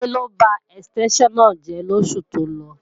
Tádé ló ba ẹ̀stẹ́ńṣàn náà jẹ́ lóṣù tó lọ